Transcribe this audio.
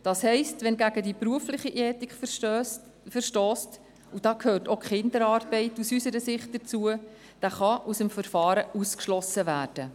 Das heisst, wer gegen die berufliche Ethik verstösst – unserer Meinung nach gehört auch die Kinderarbeit dazu – kann aus dem Verfahren ausgeschlossen werden.